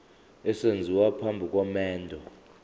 esenziwa phambi komendo